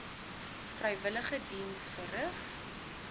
vrywillige diens verrig